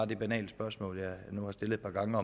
det banale spørgsmål jeg nu har stillet et par gange